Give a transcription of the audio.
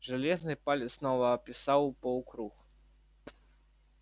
железный палец снова описал полукруг